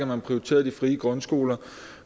man prioriterede de frie grundskoler